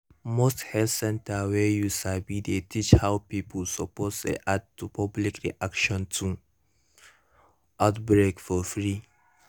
most health center wey you sabi dey teach how pipo suppose react to public reaction to outbreak for free